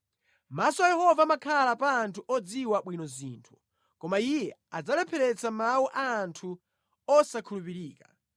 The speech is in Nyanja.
Maso a Yehova amakhala pa anthu odziwa bwino zinthu, koma Iye adzalepheretsa mawu a anthu osakhulupirika.